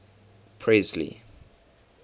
presley